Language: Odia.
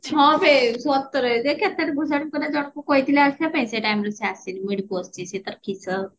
ହଁ ବେ ସତରେ ଜଣଙ୍କୁ କହିଥିଲେ ଆସିବା ପାଇଁ ସେ timeରେ ସେ ଆସିନି ମୁଁ ଏଠି ବସିଚି ସେ ତାର କିସ